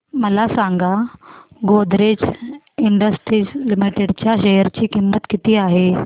मला सांगा Godrej Industries Limited च्या शेअर ची किंमत किती आहे